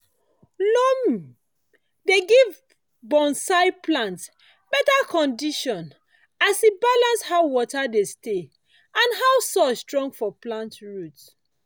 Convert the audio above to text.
loam dey give bonsai plants better condition as e balance how water dey stay and how soil strong for plant root.